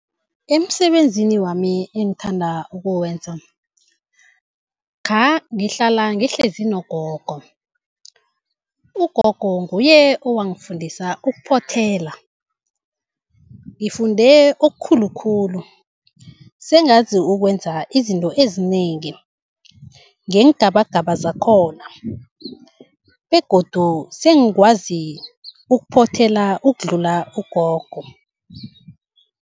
Emisebenzini wami engithanda ukuwenza. Khangihlala ngihlezi nogogo, ugogo nguye owangifundisa ukuphothela. Ngifunde okukhulu khulu sengazi ukwenza izinto ezinengi, ngeengabagaba zakhona, begodu sengikwazi ukuphothela ukudlula ugogo.